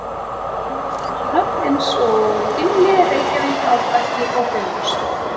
Þar er nú að finna nöfn eins og Gimli, Reykjavík, Árbakki og Bifröst.